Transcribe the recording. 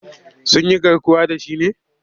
Sun yi garkuwa da shi ne?